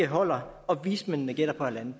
holder og vismændene gætter på en en